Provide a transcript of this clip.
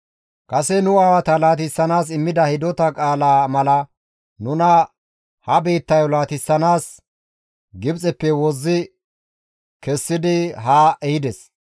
Kase nu aawata laatissanaas immida hidota qaalaa mala nuna ha biittayo laatissanaas Gibxeppe wozzi kessidi haa ehides.